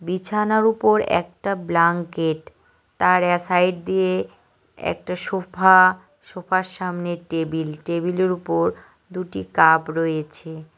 বিছানার ওপর একটা ব্লাঙ্কেট তার অ্যা সাইড দিয়ে একটা সোফা সোফার সামনে টেবিল টেবিলের ওপর দুটি কাব রয়েছে।